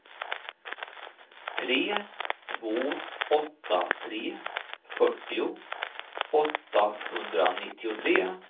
tre två åtta tre fyrtio åttahundranittiotre